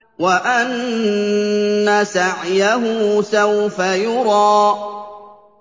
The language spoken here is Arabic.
وَأَنَّ سَعْيَهُ سَوْفَ يُرَىٰ